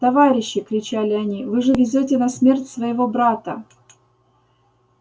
товарищи кричали они вы же везёте на смерть своего брата